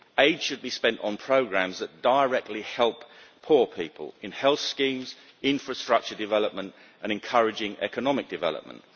Aid should be spent on programmes that directly help poor people in health schemes, infrastructure development, and encouraging economic development.